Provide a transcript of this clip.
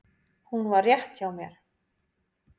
Hún var rétt hjá mér.